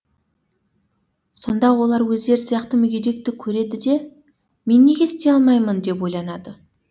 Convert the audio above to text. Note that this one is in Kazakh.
сонда олар өздері сияқты мүгедекті көреді де мен неге істей алмаймын деп ойланады